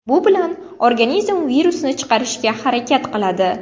Bu bilan organizm virusni chiqarishga harakat qiladi.